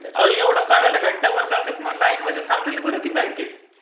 अहो एवढा काढायला घंटा भर जत्यात मग लाइन मध्ये थांबलेलं बरं की बँकेत